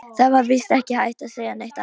Það var víst ekki hægt að segja neitt annað.